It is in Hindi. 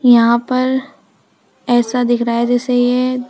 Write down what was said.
यहां पर ऐसा दिख रहा है जैसे ये--